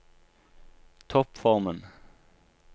toppformen